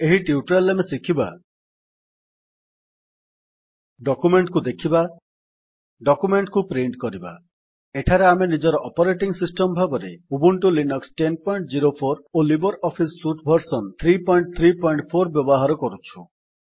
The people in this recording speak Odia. ଏହି ଟ୍ୟୁଟୋରିଆଲ୍ ରେ ଆମେ ଶିଖିବା ଡକ୍ୟୁମେଣ୍ଟ୍ କୁ ଦେଖିବା ଡକ୍ୟୁମେଣ୍ଟ୍ କୁ ପ୍ରିଣ୍ଟ୍ କରିବା ଏଠାରେ ଆମେ ନିଜ ଅପରେଟିଙ୍ଗ୍ ସିଷ୍ଟମ୍ ଭାବରେ ଉବୁଣ୍ଟୁ ଲିନକ୍ସ ୧୦୦୪ ଓ ଲିବର୍ ଅଫିସ୍ ସୁଟ୍ ଭର୍ସନ୍ ୩୩୪ ବ୍ୟବହାର କରୁଛୁ